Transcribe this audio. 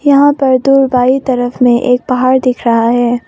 यहां पर दूर बाईं तरफ में एक पहाड़ दिख रहा है।